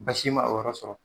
Basi ma o yɔrɔ sɔrɔ.